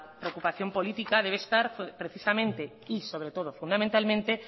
preocupación política deber estar precisamente y sobre todo fundamentalmente